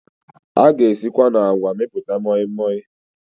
A ga esikwa na àgwà mepụta mọịmọị